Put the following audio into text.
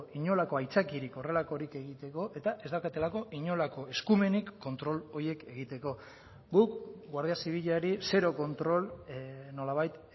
inolako aitzakiarik horrelakorik egiteko eta ez daukatelako inolako eskumenik kontrol horiek egiteko guk guardia zibilari zero kontrol nolabait